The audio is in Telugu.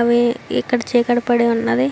అవి ఇక్కడ చీకటి పడి ఉన్నది.